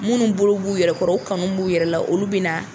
Munnu bolo b'u yɛrɛ kɔrɔ u kanu b'u yɛrɛ la olu bɛ na.